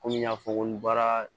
Kɔmi n y'a fɔ ko n baara